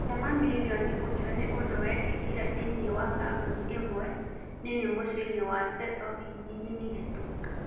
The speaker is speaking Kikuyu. Gũtĩ mamirioni ũcio ni ũndũ wĩkĩkire thĩnĩ wa kambũni ĩmwe nini mũciinĩ wa Seso wiki nini hĩtũku